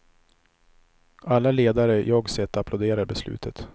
Alla ledare jag sett aplåderar beslutet.